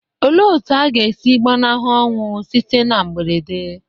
Olee otú a ga-esi gbanahụ ọnwụ site na mberede?